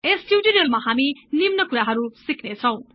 यस टिउटोरियलमा हामी निम्न कुराहरु सिक्नेछौं